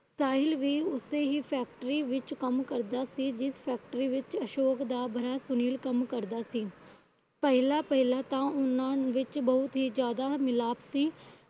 ਸਾਹਿਲ ਵੀ ਉਸੇ ਹੀ Factory ਵਿੱਚ ਕੰਮ ਕਰਦਾ ਸੀ। ਜਿਸ Factory ਵਿੱਚ ਅਸ਼ੋਕ ਦਾ ਭਰਾ ਸੁਨੀਲ ਕੰਮ ਕਰਦਾ ਸੀ। ਪਹਿਲਾ ਪਹਿਲਾ ਤਾਂ ਉਹਨਾਂ ਵਿੱਚ ਬਹੁਤ ਹੀ ਜਿਆਦਾ ਮਿਲਾਪ ਸੀ।